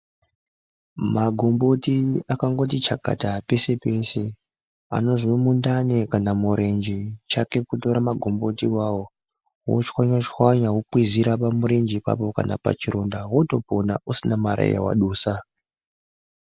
Magumbuti akangotichakata peshe peshe. Anozomundane kana morenje chake kutora magomboti wo awa woshwanya shwanya ,wokwizira pamurenje papo kanapachironda wotopona usimari yawadusa.